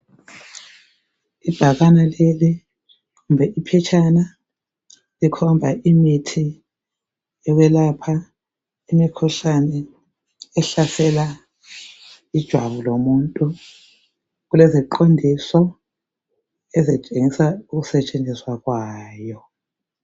Ibhakane leli kumbe iphetshana likhomba imithi yokwelapha imikhuhlane ehlasela ijwabu lomuntu .Kuleziqondiso ezitshengisa ukusetshenziswa kwayo.